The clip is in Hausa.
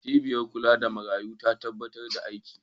Cibiyar kula da marayu ta dakatar da aiki.